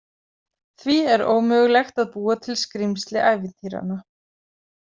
Því er ómögulegt að búa til skrímsli ævintýranna.